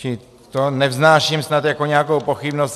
Čili to nevznáším snad jako nějakou pochybnost.